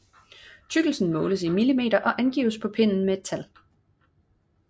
Tykkelsen måles i millimeter og angives på pinden med et tal